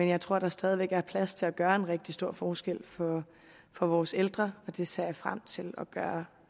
jeg tror at der stadig væk er plads til at gøre en rigtig stor forskel for vores ældre og det ser jeg frem til at vi gør